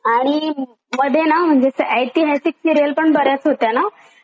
आणि मधे ना म्हणजे असं ऐतिहासिक सिरियल पण बर्याच होत्या ना?